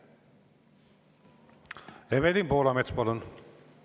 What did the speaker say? Evelin Poolamets, palun!